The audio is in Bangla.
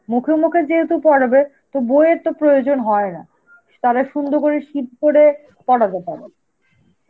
মুখে মুখে যেহেতু পড়াবে তো বইয়ের তো প্রয়োজন হয় না, তাহলে সুন্দর করে কি করে পড়াবে কেন?